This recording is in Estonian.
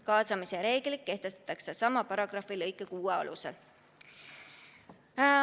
Kaasamise reeglid kehtestatakse sama paragrahvi lõike 6 alusel.